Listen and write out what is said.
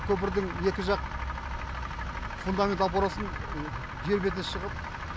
көпірдің екі жақ фундамент опорасын жер бетіне шығып